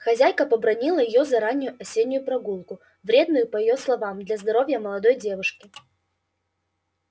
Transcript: хозяйка побранила её за раннюю осеннюю прогулку вредную по её словам для здоровья молодой девушки